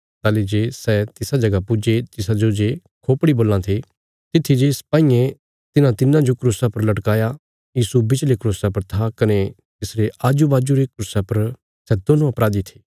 ताहली जे सै तिसा जगह पुज्जे तिसाजो जे खोपड़ी बोलां थे तित्थी जे सपाईयें तिन्हां तिन्नां जो क्रूसां पर लटकाया यीशु बिच्चले क्रूसा पर था कने तिसरे आजु बाजू रे क्रूसा पर सै दोन्नों अपराधी थे